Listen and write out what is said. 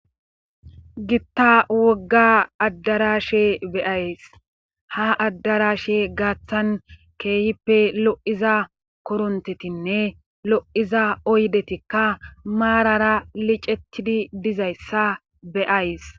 Gitta wogga addara she beyays ha addara she gaaththan keehippe lo'iza korontetinne lo7iza oydetikka maarara licettidi dizayssa beyays.